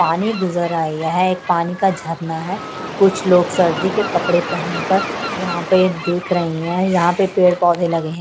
पानी गुजर आया है एक पानी का झरना है कुछ लोग सर्दी के कपड़े पहनकर देख रहे हैं यहां पर पेड़ पौधे लगे।